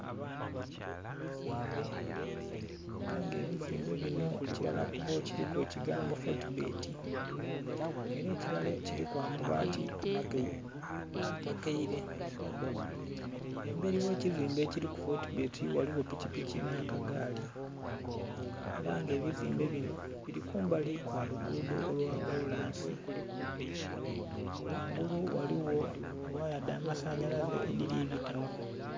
Ebizimbe, era nga ebizimbe binho ekirala kubyo kiriku ekigambo foti bbeti era ekirala kiriku amabaati amakaire, emberi oghe kizimbe kiriku foti bbeti ghaligho piki piki nha kagaali era nga ebizimbe binho biri kumbali kwalugudho lwa kolansi ghangulu eriyo ghaya edhamasanyalaze edhili bitayo.